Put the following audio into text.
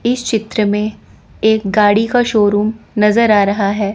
इस चित्र में एक गाड़ी का शोरूम नजर आ रहा है।